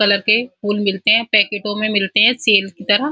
Colour के फूल मिलते हैं पैकेटो में मिलते है सेल कि तरह।